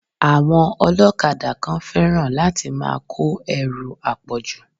Àwọn ọlọ́kadà kan fẹ́ràn láti máa kó ẹrù àpọ̀jù.